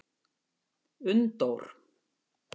Unndór